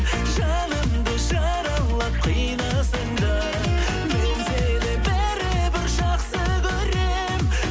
жанымды жаралап қинасаң да мен сені бәрібір жақсы көрем